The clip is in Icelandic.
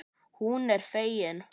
Hún er fegin.